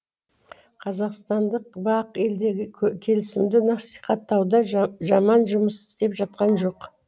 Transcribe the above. қазақстандық бақ елдегі келісімді насихаттауда жаман жұмыс істеп жатқан жоқ